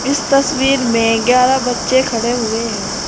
इस तस्वीर में ग्यारह बच्चे खड़े हुए हैं।